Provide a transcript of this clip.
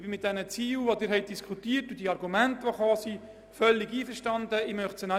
Mit den Zielen, die Sie diskutiert haben, und mit den Argumenten, die formuliert wurden, bin ich völlig einverstanden.